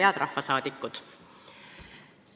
Head rahvasaadikud!